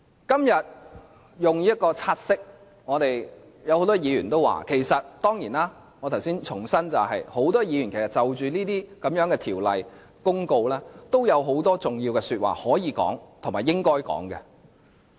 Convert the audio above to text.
今天就這項"察悉議案"，很多議員都有話要說......當然，我重申，很多議員就着這些條例、公告，都有很多重要的話要說和應該說。